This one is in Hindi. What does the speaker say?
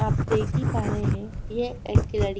आप देख ही पा रहे है यह एक लड़--